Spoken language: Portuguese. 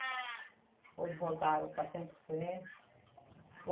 Outros voltaram para Centro-Sé.